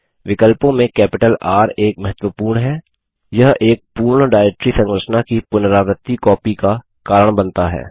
विकल्पों में capital R एक महत्वपूर्ण हैयह एक पूर्ण डाइरेक्टरी संरचना की पुनरावर्ती कॉपी का कारण बनता है